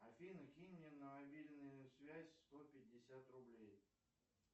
афина кинь мне на мобильную связь сто пятьдесят рублей